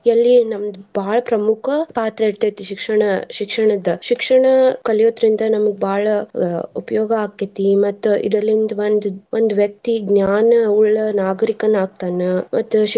ಎಲ್ಲಿ ನಮ್ದ್ ಬಾಳ ಪ್ರಮುಖ ಪಾತ್ರ ಇರ್ತೆತಿ ಶಿಕ್ಷಣ ಶಿಕ್ಷಣದ್ದ. ಶಿಕ್ಷಣ ಕಲಿಯೊದ್ರಿಂದ ನಮ್ಗ್ ಬಾಳ ಆಹ್ ಉಪಯೋಗ ಆಕ್ಕೇತಿ ಮತ್ತ್ ಇದ್ರಲಿಂದ ಒಂದ್ ಒಂದ್ ವ್ಯಕ್ತಿ ಜ್ಞಾನವುಳ್ಳ ನಾಗರಿಕನಾಗ್ತಾನ ಮತ್ತ್ .